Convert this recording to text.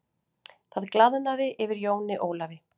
Það glaðnaði yfir Jóni Ólafi.